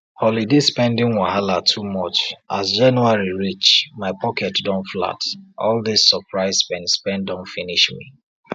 holiday spending wahala too much as january reach my pocket don flat all dis surprise spendspend don finish me